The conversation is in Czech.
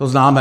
To známe.